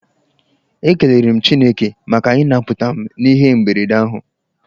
Ekelere m Chineke maka ịnaputa m n'ihe mberede ahụ.